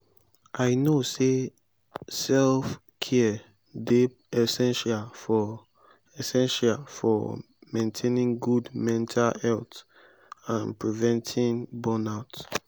i know say self-care dey essential for essential for maintaining good mental health and preventing burnout.